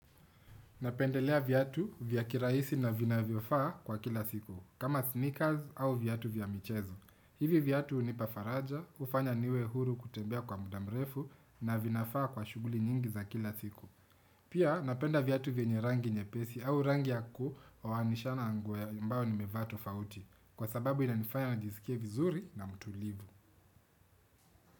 Napendelea viatu vya kirahisi na vinavyofaa kwa kila siku, kama sneakers au viatu vya michezo. Hivi viatu hunipa faraja, hufanya niwe huru kutembea kwa muda mrefu na vinafaa kwa shughuli nyingi za kila siku. Pia napenda viatu vyenye rangi nyepesi au rangi ya kuwanishana na nguo ambao nimevaa tofauti, kwa sababu inanifanya nijisikie vizuri na mtulivu.